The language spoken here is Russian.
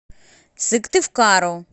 сыктывкару